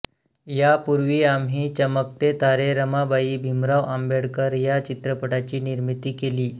यापूर्वी आम्ही चमकते तारे रमाबाई भीमराव आंबेडकर या चित्रपटाची निर्मिती केली